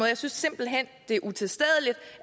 jeg synes simpelt hen det er utilstedeligt